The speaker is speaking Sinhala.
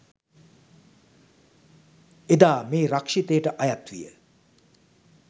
එදා මේ රක්ෂිතයට අයත් විය